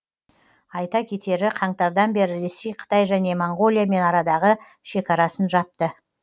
айта кетері қаңтардан бері ресей қытай және моңғолиямен арадағы шекарасын жапты